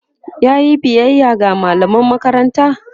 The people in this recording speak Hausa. yayi biyaya ga mallaman makaranta?